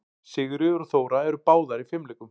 Sigríður og Þóra eru báðar í fimleikum.